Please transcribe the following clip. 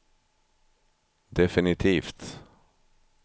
definitivt